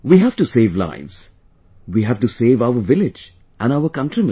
We have to save lives...we have to save our village...and our countrymen